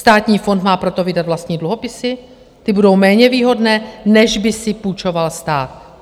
Státní fond má proto vydat vlastní dluhopisy, ty budou méně výhodné, než by si půjčoval stát.